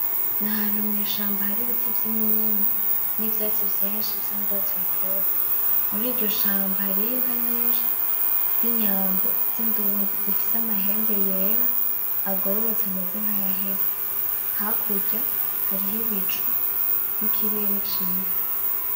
N'ahantu mwishamba haribiti vy'iminyinya, nivyatsi vyinshi bisa n'urwatsi rutoto. Muriryo shamba hariho inka nyinshi z'inyambo z'indundi zifise amahembe yera agororotse ameze nkayahese. Hakurya hariho ibicu n'ikirere ciza.